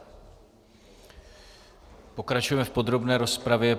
Pokračujeme v podrobné rozpravě.